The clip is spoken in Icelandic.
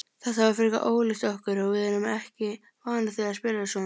Þetta var frekar ólíkt okkur og við erum ekki vanar því að spila svona.